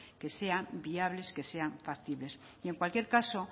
que sean viables que sean factibles y en cualquier caso